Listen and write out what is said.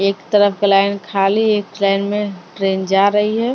एक तरफ का लाइन खाली एक लाइन में ट्रेन जा रही है .